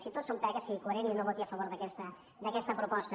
si tot són pegues sigui coherent i no voti a favor d’aquesta proposta